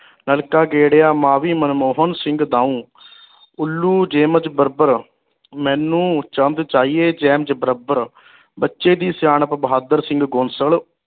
ਨਲਕਾ ਗੇਰਿਆ ਮਾਫੀ ਮਨਮੋਹਨ ਸਿੰਘ ਦਾਉ ਉੱਲੂ ਮੇਨੂ ਚੰਦ ਬੱਚੇ ਦੀ ਸਿਆਣਪ ਬਹਾਦਰ ਸਿੰਘ ਗੋਸਲ